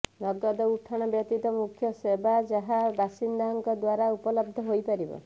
ନଗଦ ଉଠାଣ ବ୍ୟତୀତ ମୁଖ୍ୟ ସେବା ଯାହା ବାସିନ୍ଦାଙ୍କ ଦ୍ୱାରା ଉପଲବ୍ଧ ହୋଇପାରିବ